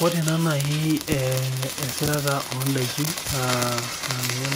Ore ta nai esirata ondakini na ninye